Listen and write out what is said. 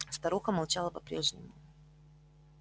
старуха молчала по прежнему